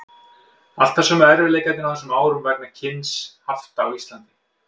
Alltaf sömu erfiðleikarnir á þessum árum vegna alls kyns hafta á Íslandi.